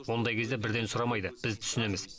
ондай кезде бірден сұрамайды біз түсінеміз